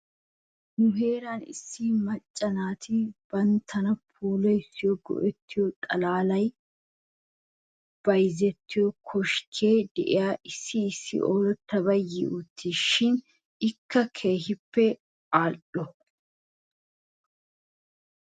Nu heeran issi macca naati banttana puulayanaw go'ettiyooba xalaalay bayzzettiyoo koskkee de'iyaagan issi issi oorattabaykka yiwttiisi shin ikka keehi al'iyaabee?